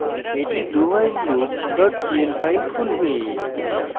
এটি dowhileloop pl file খুলবে